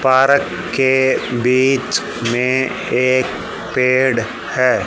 Park के बीच में एक पेड़ है।